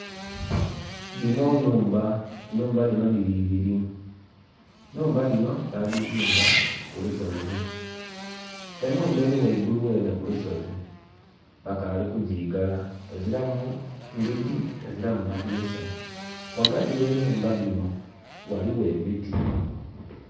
Dhino numba, enumba dhino dhiri ibiri, numba dhino badhizimba kulusozi. Enumba eri ghaigulu ghenhe ku lusozi bakaali ku gigala, eziramu ndhigi eziramu madhinisa. Ghagati ghenumba dhino ghaligho emiti.